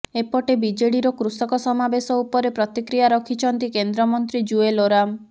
ଏପଟେ ବିଜେଡିର କୃଷକ ସମାବେଶ ଉପରେ ପ୍ରତିକ୍ରିୟା ରଖିଛନ୍ତି କେନ୍ଦ୍ରମନ୍ତ୍ରୀ ଜୁଏଲ ଓରାମ